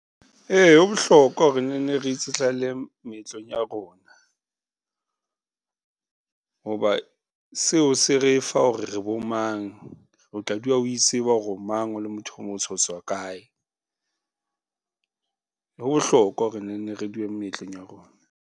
Ee, ho bohlokwa hore ne nne re itsetlalle moetlong ya rona hoba seo se re fa hore re bo mang, o tla dula o itseba hore o mang o le motho o motsho otswa kae. Ho bohlokwa hore ne nne re dule moetlong ya rona.